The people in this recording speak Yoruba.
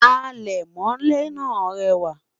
alè mọlé nà rewa